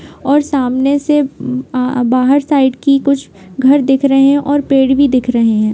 और सामने से उम्म आह बाहर साइड की कुछ घर दिख रहे हैं और पेड़ भी दिख रहे हैं।